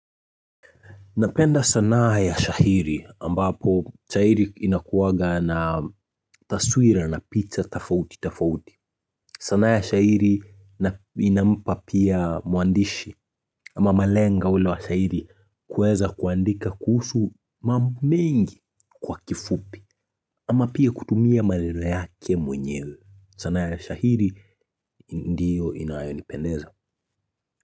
Napenda sanaa ya shahiri ambapo shahiri inakuwaga na taswira na picha tafauti tafauti. Sanaa ya shahiri inampa pia mwandishi ama malenga ule wa shahiri kuweza kuandika kuhusu mambo mengi kwa kifupi ama pia kutumia maneno yake mwenyewe. Sanaa ya shahiri ndiyo inayonipendeza.